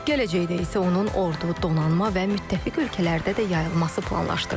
Gələcəkdə isə onun ordu, donanma və müttəfiq ölkələrdə də yayılması planlaşdırılır.